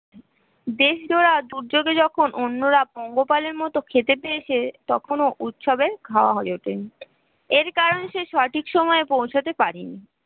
দেশজোড়া দুর্যোগে যখন অন্যরা পঙ্গপালের মত খেতে তে এসে তখনও উৎসবের খাড়া হয়ে উঠেন এর কারণ সঠিক সময়ে পৌঁছাতে পারিনি